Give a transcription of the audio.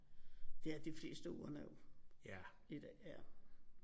Det er de fleste urner jo i dag ja